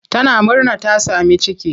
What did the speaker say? Tana murna ta sami ciki.